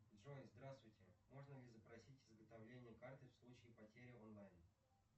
джой здравствуйте можно ли запросить изготовление карты в случае потери онлайн